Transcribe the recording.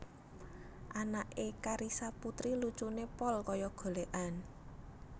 Anak e Carissa Puteri lucune pol koyok golekan